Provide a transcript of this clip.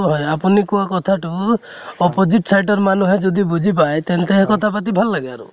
হয় আপুনি কোৱা কথাটো opposite side ৰ মানুহে যদি বুজি পায় তেন্তে কথা পাতি ভাল লাগে আৰু